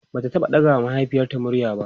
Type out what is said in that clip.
Bata taɓa ɗaga wa mahaifiyarta murya ba